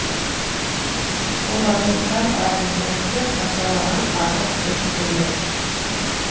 олардан сәл әрегіректе сатырлаған ағаш бөшкелер